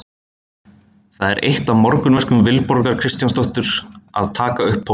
Það er eitt af morgunverkum Vilborgar Kristjánsdóttur að taka upp póstinn.